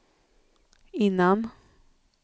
innan